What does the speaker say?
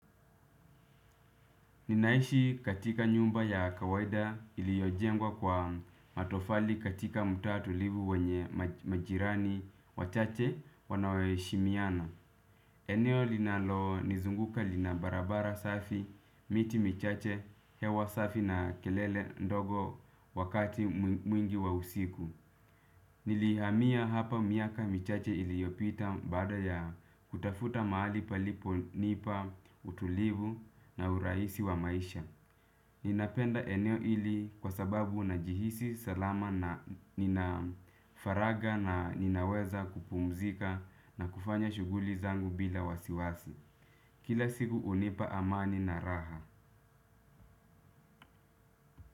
Ninaishi katika nyuma ya kawaida iliyojengwa kwa matofali katika mtaa tulivu wenye majirani wachache wanao heshimiana. Eneo linalonizunguka lina barabara safi, miti michache, hewa safi na kelele ndogo wakati mwingi wa usiku. Nilihamia hapa miaka michache iliyopita baada ya kutafuta mahali paliponipa utulivu na urahisi wa maisha. Ninapenda eneo hili kwa sababu unajihisi salama na nina faragha na ninaweza kupumzika na kufanya shughuli zangu bila wasiwasi. Kila siku hunipa amani na raha.